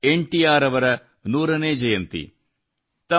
ಇಂದು N T R ಅವರ ನೂರನೇ ಜಯಂತಿ